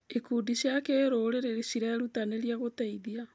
Ikundi cia kĩrũrĩrĩ cirerutanĩria gũteithia.